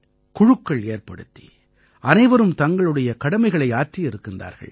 குழுக்கள் ஏற்படுத்தி அனைவரும் தங்களுடைய கடமைகளை ஆற்றி இருக்கின்றார்கள்